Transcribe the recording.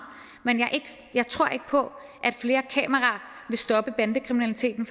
men jeg tror ikke på at flere kameraer vil stoppe bandekriminaliteten